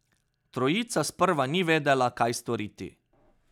Trojica sprva ni vedela, kaj storiti.